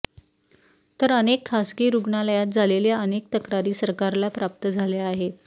तर अनेक खासगी रुग्णालयात झालेल्या अनेक तक्रारी सरकारला प्राप्त झाल्या आहेत